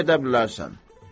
İndi gedə bilərsən.